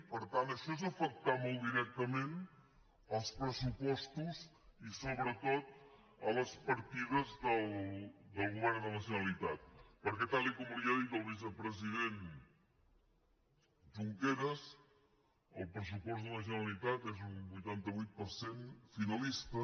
per tant això és afectar molt directament els pressupostos i sobretot les partides del govern de la generalitat perquè tal com li ha dit el vicepresident junqueras el pressupost de la generalitat és un vuitanta vuit per cent finalista